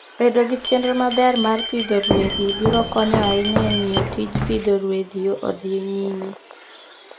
Bedo gi chenro maber mar pidho ruedhi biro konyo ahinya e miyo tij pidho ruedhi odhi nyime.